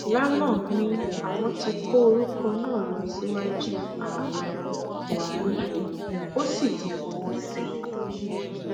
lalong ni àwọn ti kó orúkọ náà lọ síwájú ààrẹ buhari ó sì ti fọwọ sí i